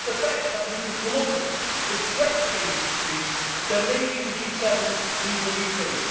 And if the best that we can come up with is threats against Greece then maybe the G7 needs a rethink.